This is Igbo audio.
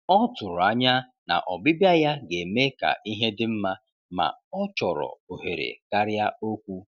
Ọ tụrụ anya na ọbịbịa ya ga-eme ka ihe dị mma, ma ọ chọrọ ohere karịa okwu.